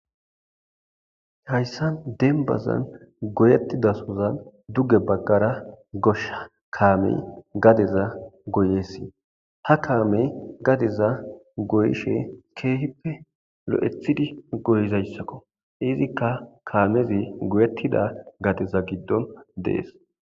Hayssan dembazan goyethidasora duge baggara goshsha kamme gadezan goyes ha kamme gadeza goyishe kehippe loi'thidi goyizayssakko izzikka kammezi goyethida gade gidon dess.